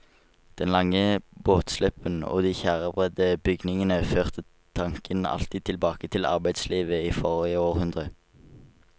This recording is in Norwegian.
Den lange båtslippen og de tjærebredde bygningene førte tanken alltid tilbake til arbeidslivet i forrige århundre.